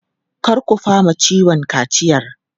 Kar ku fama ciwon kaciyar!